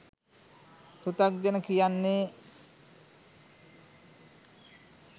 පෘතග්ජන කියන්නේ